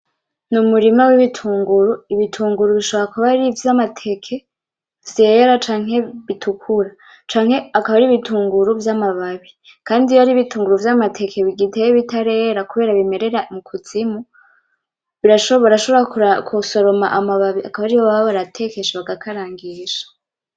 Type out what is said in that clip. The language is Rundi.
Umurima w´ibitunguru ibitunguru bishobora kuba ari ivy´amateke vyera canke bitukura canke akaba ari ibitunguru vy´amababi kandi iyo ari ibitunguru vy´amateke bigiteye bitarera kubera bimerera mu kuzimu barashobora gusoroma amababi akaba ariyo baba baratekesha bagakarangisha.